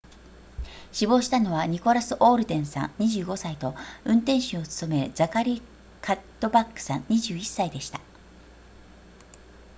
死亡したのはニコラスオールデンさん25歳と運転手を務めるザカリーカッドバックさん21歳でした